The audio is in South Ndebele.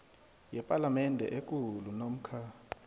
yepalamende ekulu namkha